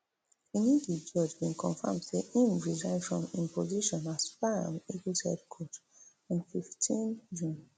finidi george bin confam say im resign from im position as super um eagles head coach on fifteen june